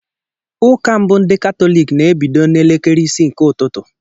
Ụka mbụ ndị katólik na ebido n' elekere isii nke ụtụtụ.